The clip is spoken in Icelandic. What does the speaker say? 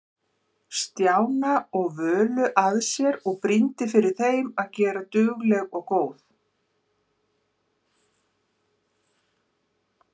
Stjána og Völu að sér og brýndi fyrir þeim að vera dugleg og góð.